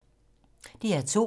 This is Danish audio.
DR2